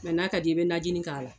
n'a ka d'i ye i bɛ najini k'a la.